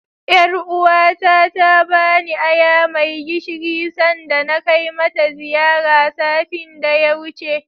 Ƴaruwa ta ta bani aya mai gishiri sanda na kai mata ziyara, satin da ya wuce.